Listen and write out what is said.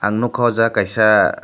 ang nukkha aw jaaga kaisa.